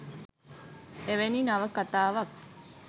එවැනි නවකතාවක්